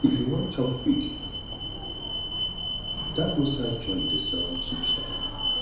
if you wan chop kwik dat roadside joint dey sell cheap shawarma